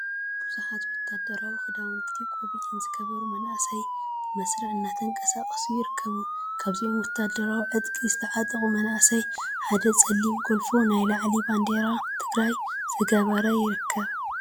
ብዙሓት ወታደራዊ ክዳውነቲን ቆቢዕን ዝገበሩ መናእሰይ ብመስርዕ እናተንቀሳቀሱ ይርከቡ፡፡ ካብዞም ወታደራዊ ዕጥቂ ዝተዓጠቁ መናእሰይ ሓደ ፀሊም ጎልፎ ናይ ላዕሊ ባንዴራ ትግራይ ዝገበረ ይርከብ፡፡